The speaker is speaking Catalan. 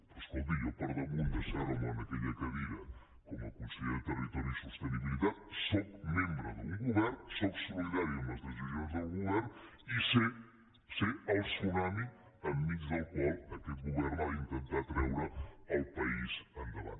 però escolti jo per damunt d’asseure’m en aquella cadira com a conseller de territori i sostenibilitat sóc membre d’un govern sóc solidari amb les decisions del govern i sé el tsunami enmig del qual aquest govern ha d’intentar treure el país endavant